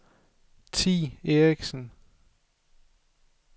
Thi Erichsen